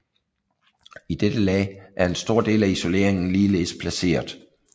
I dette lag er en stor del af isoleringen ligeledes placeret